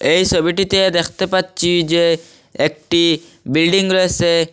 এই সবিটিতে দেখতে পাচ্ছি যে একটি বিল্ডিং রয়েসে।